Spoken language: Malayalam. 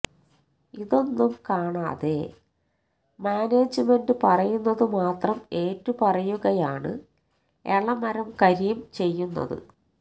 ഇതൊന്നും കാണാതെ മാനേജ്മെന്റ് പറയുന്നത് മാത്രം ഏറ്റുപറയുകയാണ് എളമരം കരീം ചെയ്യുന്നത്